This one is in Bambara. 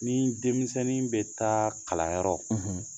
Ni denmisɛnnin bɛ taa kalanyɔrɔ